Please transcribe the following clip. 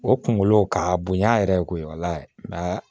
O kunkolo k'a bonya yɛrɛ ye koyi